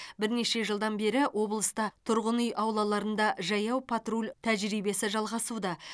бірнеше жылдан бері облыста тұрғын үй аулаларында жаяу патруль тәжірибесі жалғасуда